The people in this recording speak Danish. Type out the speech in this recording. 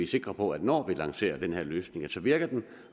sikre på at når vi lancerer den her løsning virker den